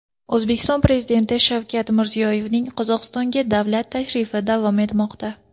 O‘zbekiston Prezidenti Shavkat Mirziyoyevning Qozog‘istonga davlat tashrifi davom etmoqda.